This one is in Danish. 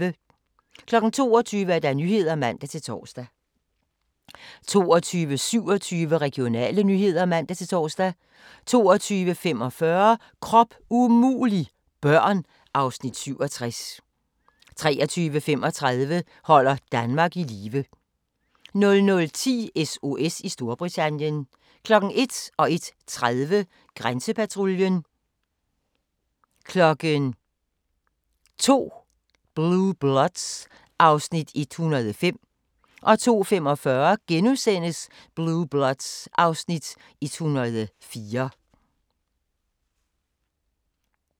22:00: Nyhederne (man-tor) 22:27: Regionale nyheder (man-tor) 22:45: Krop umulig – børn (Afs. 67) 23:35: Holder Danmark i live 00:10: SOS i Storbritannien 01:00: Grænsepatruljen 01:30: Grænsepatruljen 02:00: Blue Bloods (Afs. 105) 02:45: Blue Bloods (Afs. 104)*